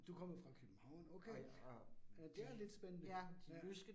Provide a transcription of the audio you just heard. Du kommer fra København okay? Øh det er lidt spændende ja